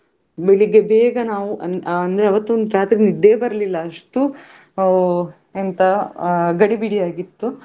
ಬೆಳಿಗ್ಗೆ ಬೇಗ ನಾವು ಅಹ್ ಅಂದ್ರೆ ಆವತ್ತು ರಾತ್ರೆ ನಿದ್ದೆಯೇ ಬರ್ಲಿಲ್ಲ ಅಷ್ಟು ಅಹ್ ಅಂತ ಅಹ್ ಗಡಿಬಿಡಿಯಾಗಿತ್ತು.